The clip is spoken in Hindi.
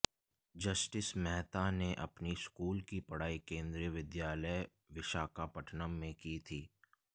जस्टिस मेहता ने अपनी स्कूल की पढ़ाई केंद्रीय विद्यालय विशाखापट्टनम में की थी